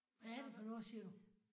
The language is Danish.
Hvad er det for noget siger du?